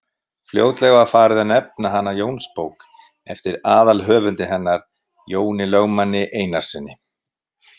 Fljótlega var farið að nefna hana Jónsbók eftir aðalhöfundi hennar, Jóni lögmanni Einarssyni.